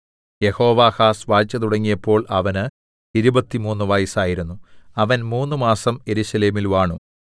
യെഹോവാഹാസ് വാഴ്ച തുടങ്ങിയപ്പോൾ അവന് ഇരുപത്തിമൂന്ന് വയസ്സായിരുന്നു അവൻ മൂന്നുമാസം യെരൂശലേമിൽ വാണു